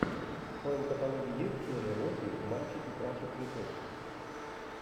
в твоем каталоге есть серия восемь мальчики краше цветов